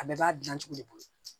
A bɛɛ b'a dilan cogo de bolo